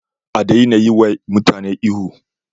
A daina yi wa mutane ihu